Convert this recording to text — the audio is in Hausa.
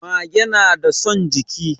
Mage nada son jiki